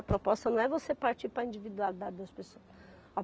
A proposta não é você partir para a individualidade das pessoas.